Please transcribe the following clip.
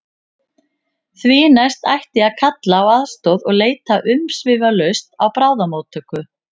Því næst ætti að kalla á aðstoð og leita umsvifalaust á bráðamóttöku.